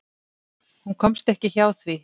Hún komst ekki hjá því.